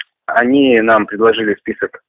они нам предложили список